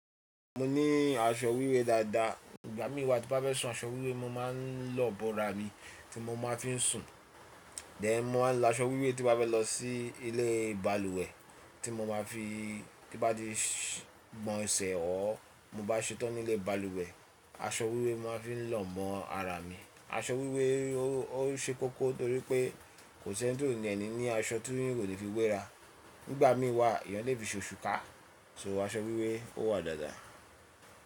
Mo ní aṣọ wíwẹ̀ dáadáa. Ígbà mí wa tí bá fẹ́ sùn aṣọ wíwe, mo máa ń lọ bọ́ra mi tí mo máa fi ń sùn. Then mó máa ń lo aṣọ wíwẹ̀ tí bá fẹ́ lọ sí ilé balùwẹ̀ tí mo máa fi, tí bá di ìgbọ̀nsẹ̀ ọ́, mo bá ṣetán nílé balùwẹ̀, aṣọ wíwẹ̀ mo máa fi ń lọ mọ ara mi. Aṣọ wíwẹ̀ ó ṣe kókó torí pé kò sí ẹni tó ní ẹni ní aṣọ tí kò le fi wéra. Nígbà mí wa, eyàn lè fi ṣe òṣùká, ṣo aṣọ wíwẹ̀ ó wà dáadáa.